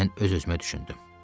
Mən öz-özümə düşündüm.